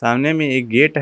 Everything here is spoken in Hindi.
सामने में एक गेट है।